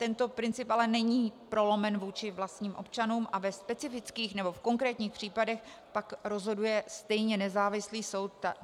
Tento princip ale není prolomen vůči vlastním občanům a ve specifických nebo v konkrétních případech pak rozhoduje stejně nezávislý soud.